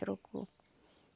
Trocou.